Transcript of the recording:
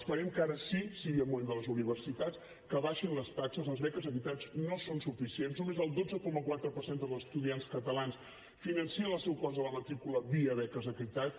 esperem que ara sí sigui el moment de les universitats que baixin les taxes les beques equitat no són suficients només el dotze coma quatre per cent dels estudiants catalans financen el seu cost de la matrícula via beques equitat